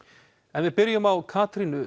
en við byrjum á Katrínu